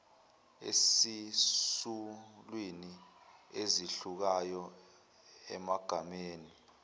esizulwini ezehlukayo emagameni